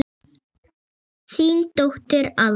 Þín dóttir, Alma.